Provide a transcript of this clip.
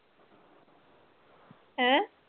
ਹੈਂ?